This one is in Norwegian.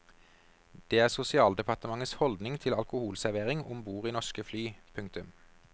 Det er sosialdepartementets holdning til alkoholservering om bord i norske fly. punktum